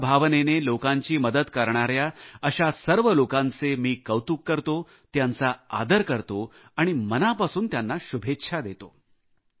सेवा भावनेने लोकांची मदत करणाऱ्या अशा सर्व लोकांचे मी कौतुक करतो त्यांचा आदर करतो आणि मनापासून त्यांना शुभेच्छा देतो